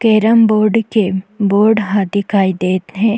केरम board के board ह दिखाई देत हे।